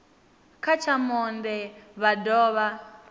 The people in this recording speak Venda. kha tsha monde vha dovha